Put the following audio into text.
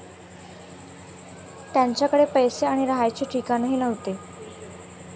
त्यांच्याकडे पैसे आणि राहायचे ठिकाणही नव्हते.